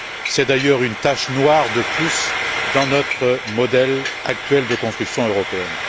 C'est d'ailleurs une tache noire de plus dans notre modèle actuel de construction européenne.